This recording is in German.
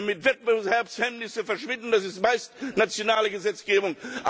Damit Wettbewerbshemmnisse verschwinden, das ist meist nationale Gesetzgebung.